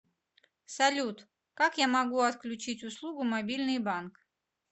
салют как я могу отключить услугу мобильный банк